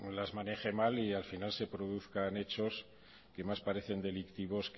las maneje mal y al final se produzcan hechos que más parecen delictivos